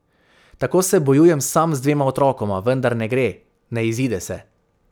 Tako se bojujem sam z dvema otrokoma, vendar ne gre, ne izide se.